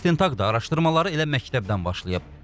İstintaq da araşdırmalara elə məktəbdən başlayıb.